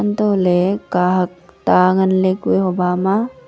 hatoh ley kak hak ta ngan ley kue hoba ma.